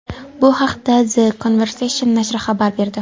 Bu haqda The Conversation nashri xabar berdi .